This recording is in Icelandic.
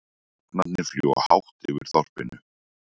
Hrafnarnir fljúga hátt yfir þorpinu.